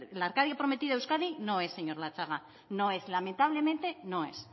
la arcadia prometida euskadi no es señor latxaga no es lamentablemente no es